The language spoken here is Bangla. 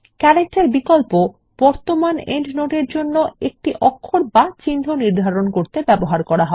ক্যারেক্টার বিকল্প এ বর্তমান পাদটীকার জন্য একটি অক্ষর বা চিহ্ন নির্ধারণ করতে ব্যবহৃত হয়